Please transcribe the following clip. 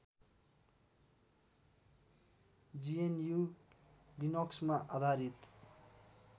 GNU लिनक्समा आधारित